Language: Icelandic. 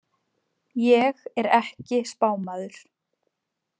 Ég er ekki spámaður.